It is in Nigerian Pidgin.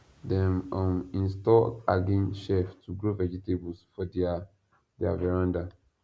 dem um install hanging shelf to grow vegetables for their their veranda